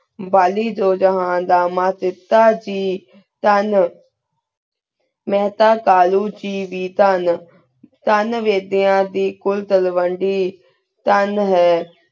ਵਾਲੀ ਧੂ ਜੇਹਨ ਦਾ ਮਾਨ ਤੇਤਾ ਦੀ ਚਾਨ ਮੈਂ ਤਾਂ ਕਾਲੁ ਜੀ ਵੇਈ ਚਾਨ ਚਾਨ ਵੇਖੇਯਨ ਦੀ ਕੁਲ ਤੇੰ ਵੇੰਡੀ ਥਾਂ ਹੈਂ